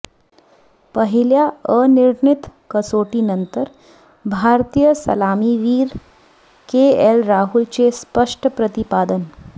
पहिल्या अनिर्णीत कसोटीनंतर भारतीय सलामीवीर केएल राहुलचे स्पष्ट प्रतिपादन